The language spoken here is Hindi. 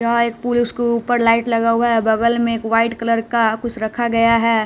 यहां एक पुरुष के ऊपर लाइट लगा हुआ है बगल में एक वाइट कलर का कुछ रखा गया है।